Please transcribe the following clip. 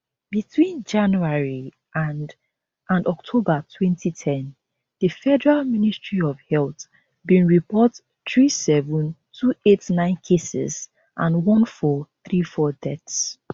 between january and and october 2010 di federal ministry of health bin report 37289 cases and 1434 deaths